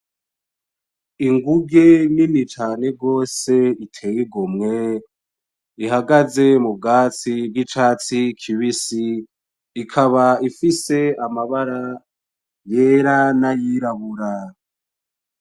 Inguge nini cane gose iteye igomwe ihagaze mu vyatsi ry'icatsi kibisi, ikaba ifise amabara yera n'ayirabura.